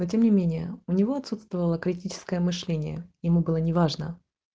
затемнение у него отсутствовала критическое мышление ему было неважно